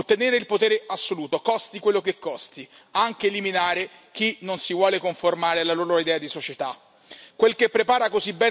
Con un unico fine ottenere il potere assoluto, costi quello che costi, anche eliminare chi non si vuole conformare alla loro idea di società.